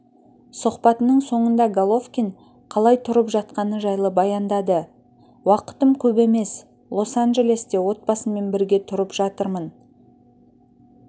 сұхбатының соңында головкин қалай тұрып жатқаны жайлы баяндады уақытым көп емес лос-анджелесте отбасыммен бірге тұрып жатырмын